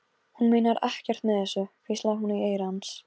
Hún meinar ekkert með þessu, hvíslaði hún í eyra hans.